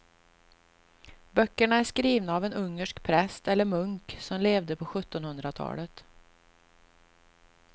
Böckerna är skrivna av en ungersk präst eller munk som levde på sjuttonhundratalet.